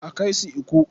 A kai su Ikko.